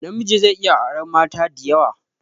Namiji zai iya auran mata diyawa